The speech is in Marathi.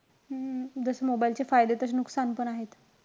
हम्म जसे mobile चे फायदे तशे नुकसान पण आहेत.